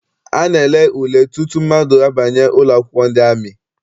A na-ele ule tutu mmadụ abanye ụlọakwụkwọ ndị amị.